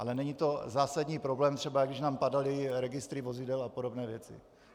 Ale není to zásadní problém, třeba jako když nám padaly registry vozidel a podobné věci.